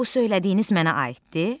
Bu söylədiyiniz mənə aiddir?